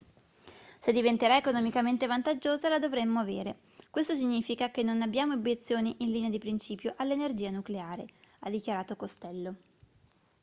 se diventerà economicamente vantaggiosa la dovremmo avere questo significa che non abbiamo obiezioni in linea di principio all'energia nucleare ha dichiarato costello